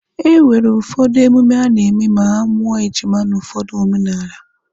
E nwere ụfọdụ emume a na-eme ma a mụọ ejima n'ụfọdụ omenala.